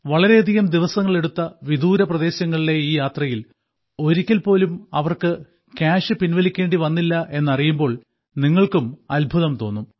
വളരെയധികം ദിവസങ്ങളെടുത്ത വിദൂര പ്രദേശങ്ങളിലെ ഈ യാത്രയിൽ ഒരിക്കൽ പോലും അവർക്ക് ക്യാഷ് പിൻവലിക്കേണ്ടി വന്നില്ല എന്നറിയുമ്പോൾ നിങ്ങൾക്കും അത്ഭുതം തോന്നും